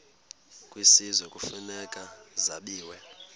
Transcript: kwisizwe kufuneka zabiwe